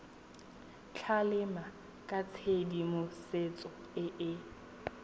tlamela ka tshedimosetso e e